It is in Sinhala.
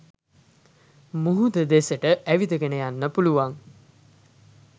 මුහුද දෙසට ඇවිදගෙන යන්න පුළුවන්.